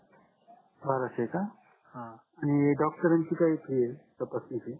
बाराशे का आणि doctor रांची काय fee आहे तपासण्याची